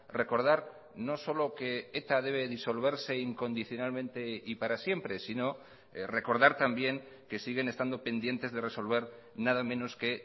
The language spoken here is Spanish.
recordar no solo que eta debe disolverse incondicionalmente y para siempre sino recordar también que siguen estando pendientes de resolver nada menos que